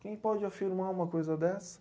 Quem pode afirmar uma coisa dessa?